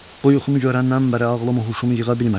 Bu yuxumu görəndən bəri ağlımı huşumu yığa bilmərəm.